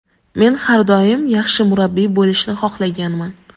Men har doim yaxshi murabbiy bo‘lishni xohlaganman.